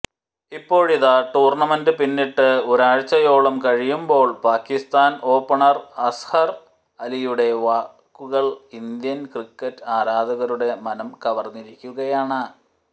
ഇപ്പോഴിതാ ടൂർണമെന്റ് പിന്നിട്ട് ഒരാഴ്ചയോളം കഴിയുമ്പോൾ പാക്കിസ്ഥാൻ ഓപ്പണർ അസ്ഹർ അലിയുടെ വാക്കുകൾ ഇന്ത്യൻ ക്രിക്കറ്റ് ആരാധകരുടെ മനം കവർന്നിരിക്കുകയാണ്